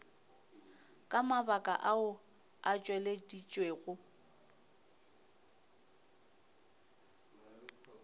ka mabaka ao a tšweleditšwego